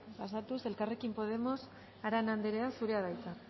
pasatuz elkarrekin podemos arana andrea zurea da hitza